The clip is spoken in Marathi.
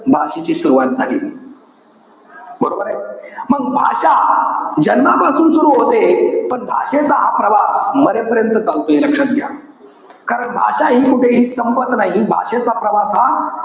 भाषेची सुरवात झाली. बरोबरे? मंग भाषा, जन्मापासून सुरु होते. पण भाषेचा हा प्रवास मरेपर्यंत चालतो. हे लक्षात घ्या. कारण भाषा हि कुठेही संपत नाही. भाषेचा प्रवास हा,